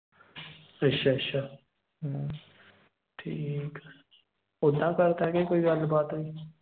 ਅੱਛਾ ਅੱਛਾ। ਹਮ ਠੀਕ ਆ। ਉੱਦਾਂ ਕਰਤਾ ਕੇ ਕੋਈ ਗੱਲ ਬਾਤ ਹੋਈ।